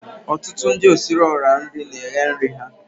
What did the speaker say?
Ọtụtụ ndi osiriiora na eghe nri ha